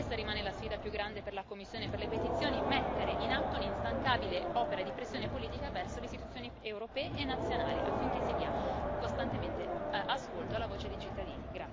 E questa rimane la sfida più grande per la commissione per le petizioni mettere in atto un'instancabile opera di pressione politica verso le istituzioni europee e nazionali, affinché si dia costantemente ascolto alla voce dei cittadini.